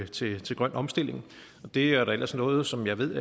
til til grøn omstilling det er ellers noget som jeg ved